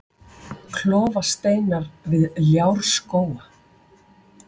Klofasteinar við Ljárskóga